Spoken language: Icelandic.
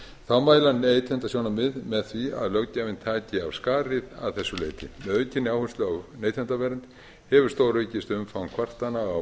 þá mæla neytendasjónarmið með því að löggjafinn taki af skarið að þessu leyti með aukinni áherslu á neytendavernd hefur stóraukist umfang kvartana á